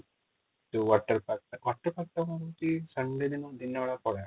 ଯୋଉ water park ଟା water park ଦିନବେଳା ଖରା |